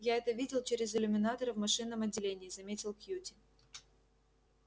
я это видел через иллюминаторы в машинном отделении заметил кьюти